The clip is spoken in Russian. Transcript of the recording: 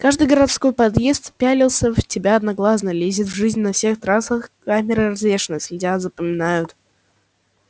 каждый городской подъезд пялился в тебя одноглазно лезет в жизнь на всех трассах камеры развешаны следят запоминают